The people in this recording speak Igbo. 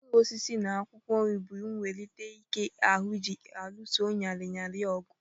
Mkpụrụosisi na akwụkwọ nri na ewulite Ike ahụ ji aluso nrịanrịa ọgụ